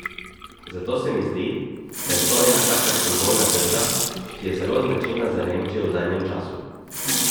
Zato se mi zdi, da je to ena taka simbolna drža, ki je zelo značilna za Nemčijo v zadnjem času.